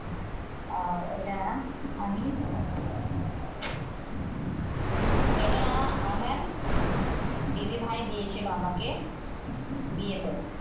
আর এটা আমি এটা আমার দিদিভাই দিয়েছিল আমাকে বিয়েতে।